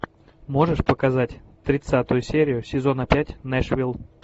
можешь показать тридцатую серию сезона пять нэшвилл